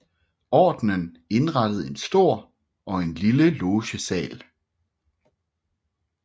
Ordenen indrettede en stor og en lille logesal